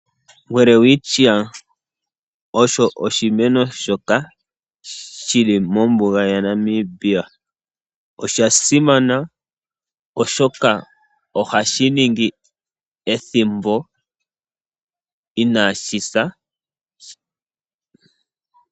Welwitschia osho oshimeno shoka shi li mombuga yaNamibia. Osha simana oshoka ohashi ningi ethimbo inaashi sa.